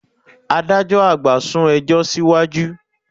Adájọ́ àgbà sún ẹjọ́ síwájú